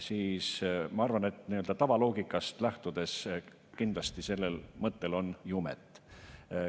Ma arvan, et nii‑öelda tavaloogikast lähtudes kindlasti sellel mõttel on jumet.